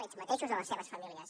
ells mateixos o les seves famílies